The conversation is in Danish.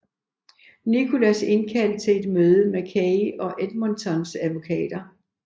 Nicholas indkaldt til et møde med Kay og Edmontons advokater